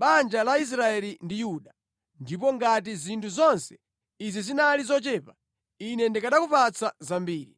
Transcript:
banja la Israeli ndi Yuda. Ndipo ngati zinthu zonse izi zinali zochepa, Ine ndikanakupatsa zambiri.